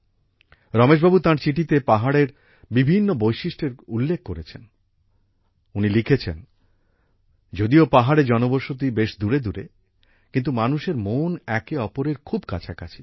রমেশ বাবু তাঁর চিঠিতে পাহাড়ের বিভিন্ন বৈশিষ্ট্যের উল্লেখ করেছেন উনি লিখেছেন যদিও পাহাড়ে জনবসতি বেশ দূরে দূরে কিন্তু মানুষের মন একে অপরের খুব কাছাকাছি